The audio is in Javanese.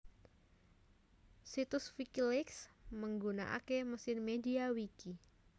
Situs Wikileaks migunakaké mesin MediaWiki